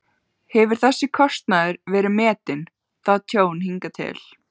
Hefur þessi kostnaður verið metinn, það tjón, hingað til?